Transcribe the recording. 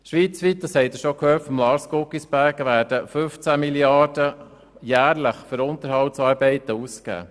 Schweizweit werden jährlich 15 Mrd. Franken für Unterhaltsarbeiten ausgegeben.